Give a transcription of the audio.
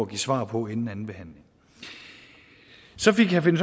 give svar på inden andenbehandlingen så fik herre finn